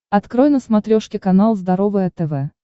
открой на смотрешке канал здоровое тв